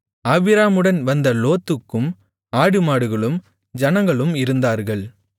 ஆபிராமுடன் வந்த லோத்துக்கும் ஆடுமாடுகளும் ஜனங்களும் இருந்தார்கள்